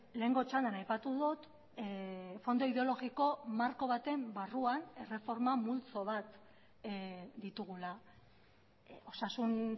lehengo txandan aipatu dut fondo ideologiko marko baten barruan erreforma multzo bat ditugula osasun